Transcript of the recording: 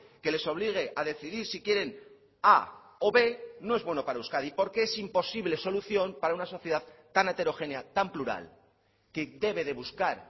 que les obligue a decidir si quieren a o b no es bueno para euskadi porque es imposible solución para una sociedad tan heterogénea tan plural que debe de buscar